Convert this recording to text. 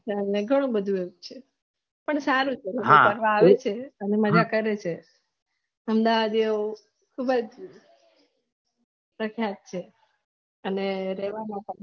ઘણું બધું આવું જ છે પણ સારું છે કોઈ કોરવા આવે છે અને મજા કરે છે અમદાવાદે ખુબજ કતાશ છે અને